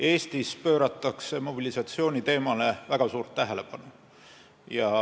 Eestis pööratakse mobilisatsiooniteemale väga suurt tähelepanu.